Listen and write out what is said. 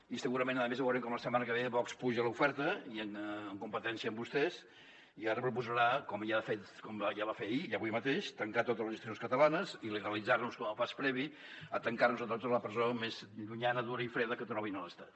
i segurament a més veurem com la setmana que ve vox apuja l’oferta i en competència amb vostès ara proposarà com ja va fer ahir i avui mateix tancar totes les institucions catalanes il·legalitzar nos com a pas previ a tancar nos a tots a la presó més llunyana dura i freda que trobin a l’estat